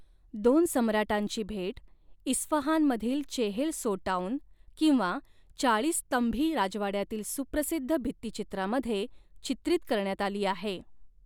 दोन सम्राटांची भेट इस्फहानमधील चेहेल सोटौन किंवा चाळीस स्तंभी राजवाड्यातील सुप्रसिद्ध भित्तिचित्रामध्ये चित्रीत करण्यात आली आहे.